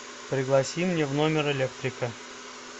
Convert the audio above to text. пригласи мне в номер электрика